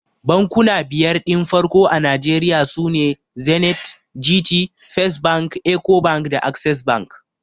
Bankuna biyar din farko a Nigeria sune Zenith, Gt, First bank, Ecobank da Access bank.